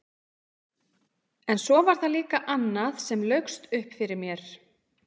En svo var það líka annað sem laukst upp fyrir mér.